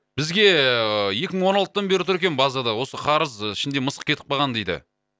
бізге ііі екі мың он алтыдан бері тұр екен базада осы қарыз ішінде мысық кетіп қалған дейді